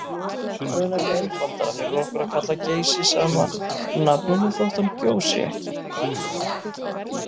Það er nefnilega einfaldara fyrir okkur að kalla Geysi sama nafninu þótt hann gjósi ekki.